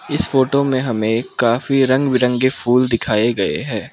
इस फोटो मे हमे काफी रंग बिरंगे फूल दिखाए गये है।